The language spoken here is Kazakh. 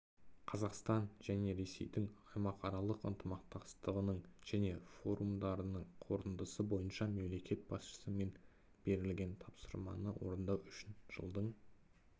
қазақстан және ресейдің аймақаралық ынтымақтастығының және форумдарының қорытындысы бойынша мемлекет басшысымен берілген тапсырманы орындау үшін жылдың